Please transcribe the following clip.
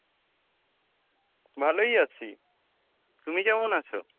ভালোই আছি, তুমি কেমন আছো?